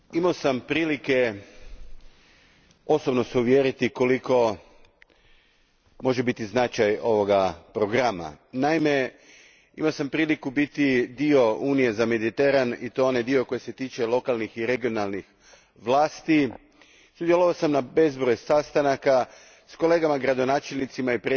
Gospodine predsjedniče, imao sam se prilike osobno uvjeriti koliki može biti značaj ovoga programa. Naime, imao sam priliku biti dio Unije za Mediteran i to onog dijela koji se tiče lokalnih i regionalnih vlasti. Sudjelovao sam na bezbroj sastanaka s kolegama gradonačelnicima